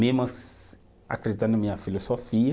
Mesmo acreditando na minha filosofia,